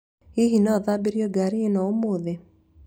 Hihi no thambĩrio ngaari ĩno ũmũthĩ?